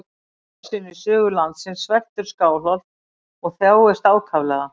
Í fyrsta sinn í sögu landsins sveltur Skálholt og þjáist ákaflega.